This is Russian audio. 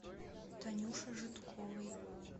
танюше жидковой